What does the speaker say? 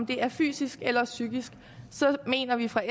det er fysisk eller psykisk så mener vi fra